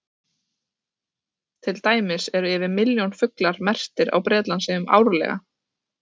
Til dæmis eru yfir milljón fuglar merktir á Bretlandseyjum árlega.